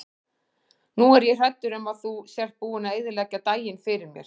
Nú er ég hræddur um að þú sért búinn að eyðileggja daginn fyrir mér.